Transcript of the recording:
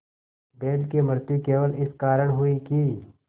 बैल की मृत्यु केवल इस कारण हुई कि